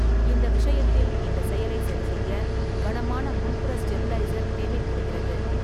இந்த விஷயத்தில் இந்த செயலை சரிசெய்ய கனமான முன்புற ஸ்டேபிளைசர் தேவைப்படுகிறது.